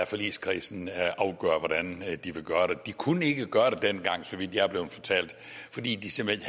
forligskredsen afgøre hvordan de vil gøre det de kunne ikke gøre det dengang så vidt jeg er blevet fortalt fordi de simpelt